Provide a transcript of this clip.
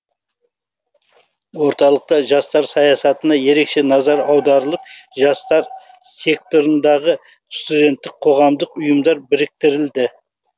орталықта жастар саясатына ерекше назар аударылып жастар секторындағы студенттік қоғамдық ұйымдар біріктірілді